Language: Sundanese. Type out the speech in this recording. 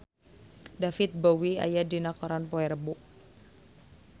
David Bowie aya dina koran poe Rebo